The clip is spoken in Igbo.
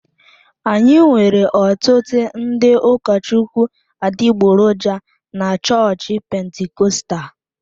Anyị nwere ọtụtụ ndị ụkọchukwu adịgboroja na chọọchị Pentikọstal.